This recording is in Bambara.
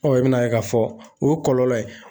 i bɛn'a ye k'a fɔ o ye kɔlɔlɔ ye